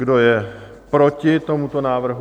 Kdo je proti tomuto návrhu?